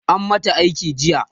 an mata aiki jiya